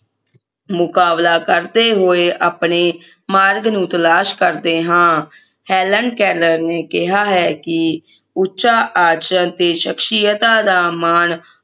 ਮੁਕਾਬਲਾ ਕਰਦੇ ਹੋਏ ਆਪਣੇ ਮਾਰਗ ਨੂੰ ਤਲਾਸ਼ ਕਰਦੇ ਹਾਂ ਹੈਲਨ ਕੇਲਰ ਨੇ ਕਿਹਾ ਹੈ ਕਿ ਉੱਚਾ ਆਚਰਣ ਅਤੇ ਸ਼ਖਸਿਯਤਾ ਦਾ ਮਾਨ